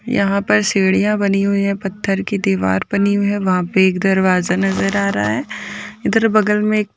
यहाँ पर सीढ़ियां बनी हुई हैं पत्थर की दीवार बनी हुई हैं वहाँ पे एक दरवाजा नजर आ रहा है इधर बगल में एक--